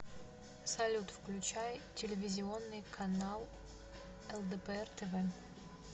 салют включай телевизионный канал лдпр тв